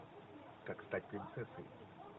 как стать принцессой